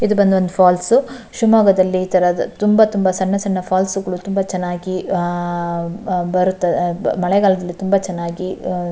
ಇದು ಬಂದು ಒಂದು ಫಾಲ್ಸ್ ಶಿವಮೊಗ್ಗದಲ್ಲಿ ಇತರ ತುಂಬ ತುಂಬ ಸಣ್ಣ ಸಣ್ಣ ಫಾಲ್ಸ್ ಗಳು ತುಂಬಾ ಚೆನ್ನಾಗಿ ಆಹ್ಹ್ ಬರುತ್ತದೆ ಮಳೆಗಾಲದಲ್ಲಿ ತುಂಬ ಚೆನ್ನಾಗಿ --